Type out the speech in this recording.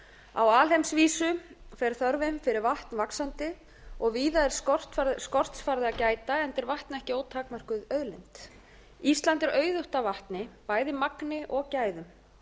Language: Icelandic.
á alheimsvísu fer þörfin fyrir vatn vaxandi og víða er skorts farið að gæta enda er vatn ekki ótakmörkuð auðlind ísland er auðugt af vatni bæði magni og gæðum